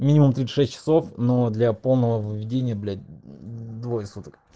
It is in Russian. минимум тридцать шесть часов но для полного выведения блять мм двое суток